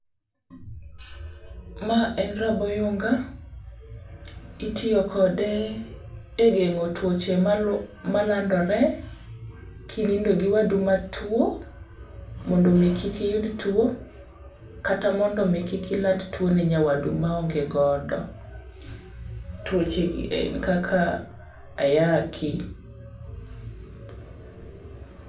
Ma en rabo oyunga. Itiyo kode e gengo tuoche malandore kinindo gi wadu matuwo mondo omi kik iyud tuwo, kaka mondo omi kik iland tuwo ne nyawadu maonge godo. Tuochegi en kaka ayaki.